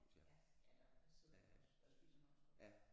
Ja eller der sidder man også der spiser man også godt